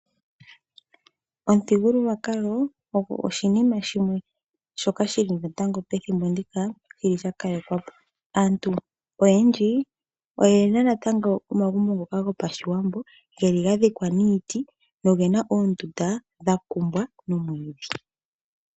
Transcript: Omuthigululwakalo ogo oshinima shimwe shoka shili natango pethimbo ndika shili sha kalekwapo. Aantu oyendji oyena natango omagumbo ngoka gopashiwambo geli ga dhikwa niiti go ga kumbwa noomwiidhi.